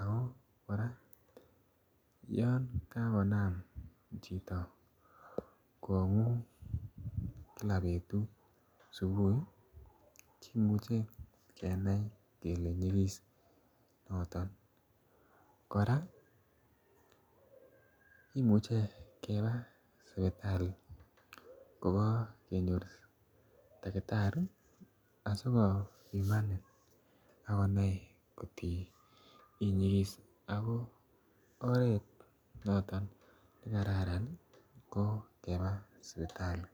ako kora olan kakonam chito kongung kila betut subuhi imuche kenai kele nyigis chichoton kora kimuche keba sipitali koba kenyor takitari asi kobimanin ak konai angot ii nyigis ago oret noton ne kararan ii ko keba sipitali